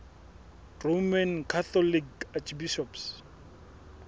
roman catholic archbishops